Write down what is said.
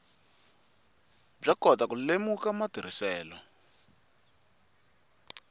byo kota ku lemuka matirhiselo